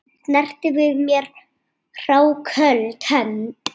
Snerti við mér hráköld hönd?